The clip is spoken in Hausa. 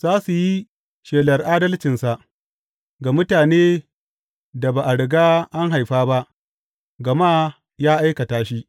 Za su yi shelar adalcinsa ga mutanen da ba a riga an haifa ba, gama ya aikata shi.